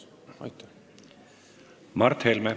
Mart Helme.